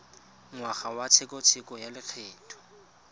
ngwaga wa tshekatsheko ya lokgetho